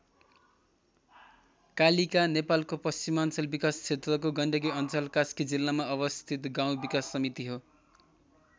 कालीका नेपालको पश्चिमाञ्चल विकास क्षेत्रको गण्डकी अञ्चल कास्की जिल्लामा अवस्थित गाउँ विकास समिति हो।